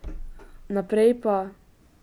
Naprej pa ...